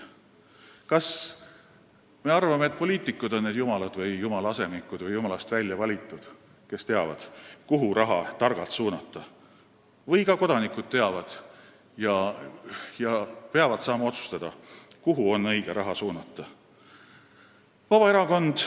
Kas me arvame, et poliitikud on jumalad, jumala asemikud või jumala väljavalitud, kes teavad, kuhu raha targalt suunata, või teavad seda ka kodanikud, kes peavad saama otsustada, kuhu on õige raha suunata?